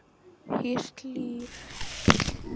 Hýrt líf